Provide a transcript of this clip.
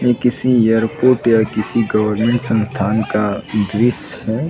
ये किसी एयरपोर्ट या किसी गवर्नमेंट संस्थान का दृस्य है।